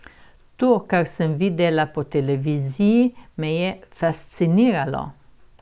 To, kar sem videla po televiziji, me je fasciniralo.